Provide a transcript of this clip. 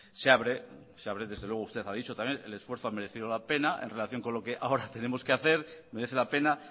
se abre se abre desde luego usted lo ha dicho también el esfuerzo ha merecido la pena en relación con lo que ahora tenemos que hacer merece la pena